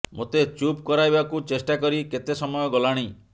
ମୋତେ ଚୁପ କରାଇବାକୁ ଚେଷ୍ଟା କରି କେତେ ସମୟ ଗଲାଣି